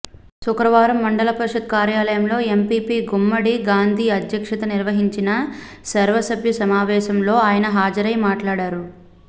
శుక్రవారం మండల పరిషత్ కార్యాలయంలో ఎంపీపీ గుమ్మడి గాంధీ అధ్యక్షతన నిర్వహించిన సర్వసభ్య సమావేశం లో ఆయన హాజరై మాట్లాడారు